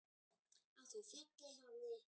Á því fjalli hafði